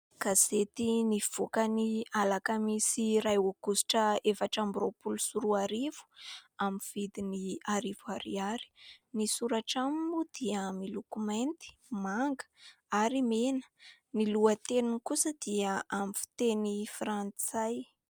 Gazety nivoaka ny alakamisy iray aogositra efatra amby roapolo sy roa arivo amin'ny vidiny arivo ariary. Ny soratra aminy moa dia miloko mainty, manga ary mena. Ny lohateniny kosa dia amin'ny fiteny frantsay.